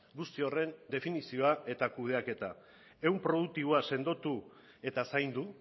guzti horren definizioa eta kudeaketa ehun produktiboa sendotu eta zaindu